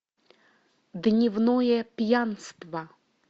дневное пьянство